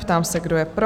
Ptám se, kdo je pro?